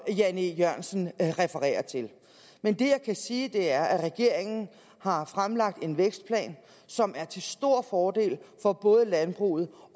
jan e jørgensen refererer til men det jeg kan sige er at regeringen har fremlagt en vækstplan som er til stor fordel for både landbruget